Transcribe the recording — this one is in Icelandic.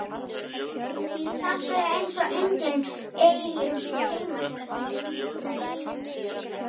Samt er eins og enginn eigi heima hérna.